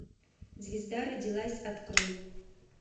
звезда родилась открой